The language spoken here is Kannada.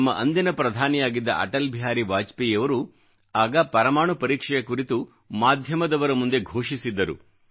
ನಮ್ಮ ಅಂದಿನ ಪ್ರಧಾನಿಯಾಗಿದ್ದ ಅಟಲ್ ಬಿಹಾರಿ ವಾಜಪೇಯಿಯವರು ಆಗ ಪರಮಾಣು ಪರೀಕ್ಷೆಯ ಕುರಿತು ಮಾಧ್ಯಮದವರ ಮುಂದೆ ಘೋಷಿಸಿದ್ದರು